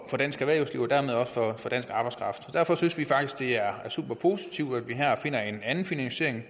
dansk erhvervsliv og dermed også for dansk arbejdskraft og derfor synes vi faktisk det er superpositivt at vi her finder en anden finansiering